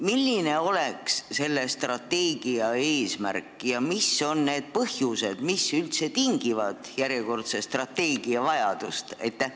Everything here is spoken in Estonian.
Milline oleks selle strateegia eesmärk ja mis on need põhjused, mis üldse tingivad järjekordse strateegia vajaduse?